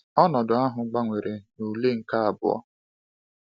Ọnọdụ ahụ gbanwere na ule nke abụọ.